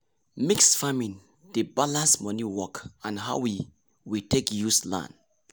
mixed farming dey balance money work and how we we take use land.